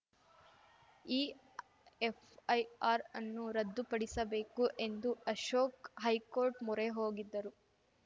ಈ ಎಫ್‌ಐಆರ್‌ ಅನ್ನು ರದ್ದು ಪಡಿಸಬೇಕು ಎಂದು ಅಶೋಕ್ ಹೈಕೋರ್ಟ್‌ ಮೊರೆ ಹೋಗಿದ್ದರು